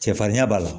Cɛfarinya b'a la